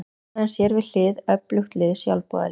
Hafði hann sér við hlið öflugt lið sjálfboðaliða.